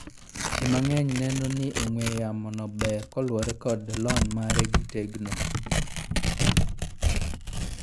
Jii mang'eny neno ni ong'wee yamo no ber kaluore kod lony mare to gi tegno